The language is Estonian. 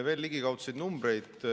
Veel ligikaudseid numbreid.